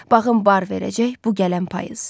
Bağım bar verəcək bu gələn payız.